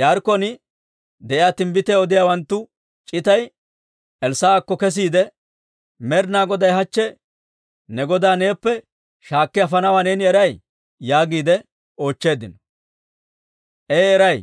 Yaarikkon de'iyaa timbbitiyaa odiyaawanttu c'itay Elssaa'akko kesiide, «Med'ina Goday hachche ne godaa neeppe shaakki afanawaa neeni eray?» yaagiide oochcheeddino. I, «Ee eray.